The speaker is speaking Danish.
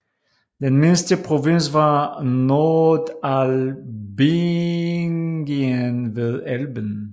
Den mindste provins var Nordalbingien ved Elben